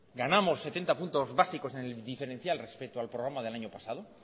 ganamos setenta puntos básicos en el diferencial respecto al programa del año pasado